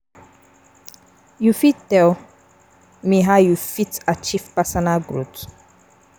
You fit tell me how you fit achieve personal growth?